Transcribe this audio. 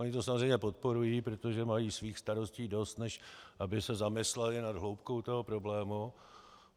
Oni to samozřejmě podporují, protože mají svých starostí dost, než aby se zamysleli nad hloubkou toho problému.